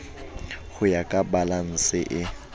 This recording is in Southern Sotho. ho ya ka balanse e